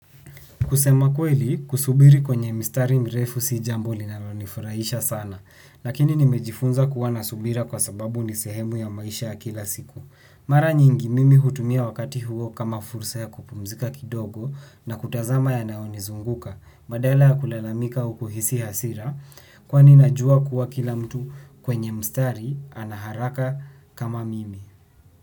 Kusema kweli, kusubiri kwenye mstari mrefu si jambo linalonifurahisha sana. Lakini nimejifunza kuwa na subira kwa sababu ni sehemu ya maisha ya kila siku. Mara nyingi mimi hutumia wakati huo kama fursa ya kupumzika kidogo na kutazama ya nayoni zunguka. Badala ya kulalamika au kuhisi hasira kwa ni najua kuwa kila mtu kwenye mstari ana haraka kama mimi.